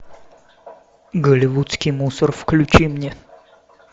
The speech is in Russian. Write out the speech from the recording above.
голивудский мусор включи мне